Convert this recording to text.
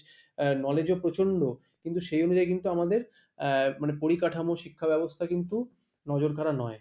knowledge ও প্রচন্ড কিন্তু সেই অনুযায়ী কিন্তু আমাদের আহ মানে পরিকাঠামো, শিক্ষা ব্যবস্থা কিন্তু নজরকাড়া নয়,